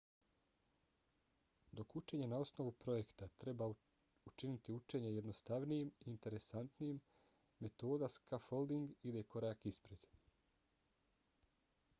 dok učenje na osnovu projekta treba učiniti učenje jednostavnijim i interesantnijim metoda scaffolding ide korak ispred